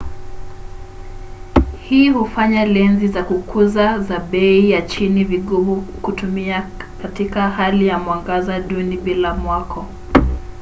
hii hufanya lenzi za kukuza za bei ya chini vigumu kutumia katika hali ya mwangaza duni bila mwako